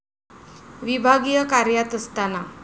विभागीय कार्यात असताना